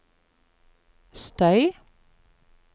støy